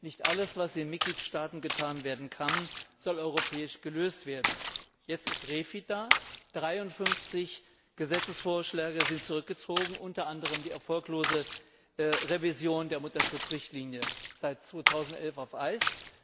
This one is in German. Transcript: Nicht alles, was in den Mitgliedstaaten getan werden kann, soll europäisch gelöst werden. Jetzt ist REFIT da, 53 Gesetzesvorschläge sind zurückgezogen, unter anderem die erfolglose Revision der Mutterschutzrichtlinie, seit 2011 auf Eis.